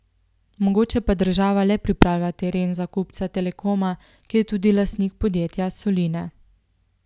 Mogoče pa država le pripravlja teren za kupca Telekoma, ki je tudi lastnik podjetja Soline.